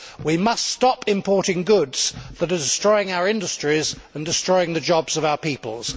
We must stop importing goods that are destroying our industries and destroying the jobs of our peoples.